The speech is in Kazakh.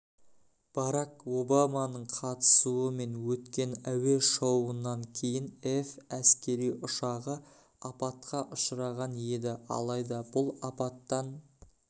барак обаманың қатысумен өткен әуе-шоуынан кейін эф әскери ұшағы апатқа ұшыраған еді алайда бұл апаттан